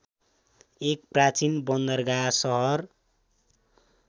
एक प्राचीन बन्दरगाह शहर